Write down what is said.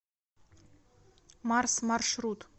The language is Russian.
марс маршрут